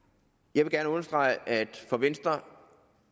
jeg vil gerne understrege at for venstre